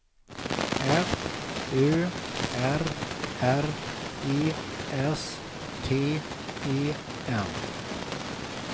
F Ö R R E S T E N